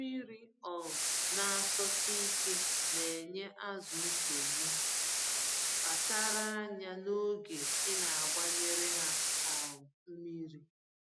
Mmírí um n'asọsike nenye azụ nsogbu — kpachara anya n'oge inagbanyere ha um mmiri.